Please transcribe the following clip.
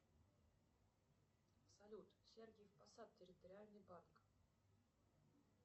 салют сергиев посад территориальный банк